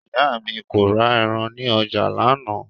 Ìyá mi kò ra ẹran ní ọjà lánàá